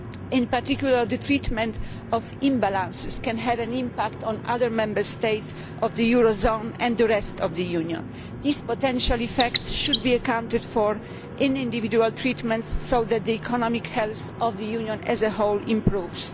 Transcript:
In particular, the treatment of imbalances can have an impact on other Member States of the eurozone and the rest of the Union. These potential effects should be accounted for in individual treatments so that the economic health of the Union as a whole improves.